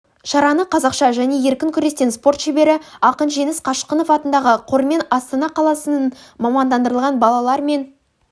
шараны қазақша және еркін күрестен спорт шебері ақынжеңіс қашқынов атындағы қормен астана қаласының мамандандырылған балалар мен